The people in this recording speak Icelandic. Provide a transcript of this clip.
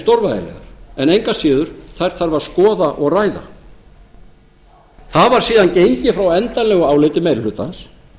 stórvægilegar en engu að síður þær þarf að skoða og ræða það var síðan gengið frá endanlegu áliti meiri hlutans